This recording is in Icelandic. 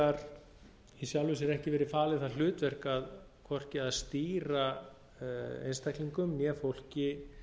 vegar í sjálfu sér ekki verið falið það hlutverk hvorki að stýra einstaklingum né fólki